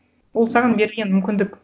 ол саған берілген мүмкіндік